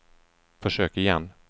försök igen